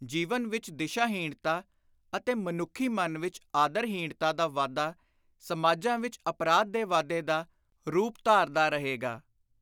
ਜੀਵਨ ਵਿਚ ਦਿਸ਼ਾ-ਹੀਣਤਾ ਅਤੇ ਮਨੁੱਖੀ ਮਨ ਵਿਚ ਆਦਰ-ਹੀਣਤਾ ਦਾ ਵਾਧਾ ਸਮਾਜਾਂ ਵਿਚ ਅਪਰਾਧ ਦੇ ਵਾਧੇ ਦਾ ਰੁਪ ਧਾਰਦਾ ਰਹੇਗਾ।